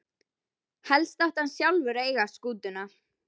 Helst átti hann sjálfur að eiga skútuna.